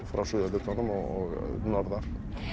frá suðurhlutanum og norðar